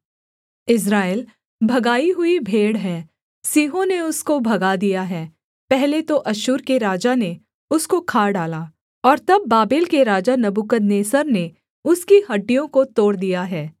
इस्राएल भगाई हुई भेड़ है सिंहों ने उसको भगा दिया है पहले तो अश्शूर के राजा ने उसको खा डाला और तब बाबेल के राजा नबूकदनेस्सर ने उसकी हड्डियों को तोड़ दिया है